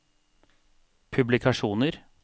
publikasjoner